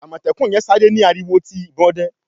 Amọtẹkun yen sáré ni ariwo ti ìbọn òde